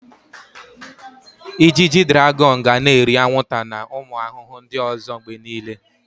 Ijiji draghon ga na-eri anwụnta na ụmụ ahụhụ ndị ọzọ mgbe niile.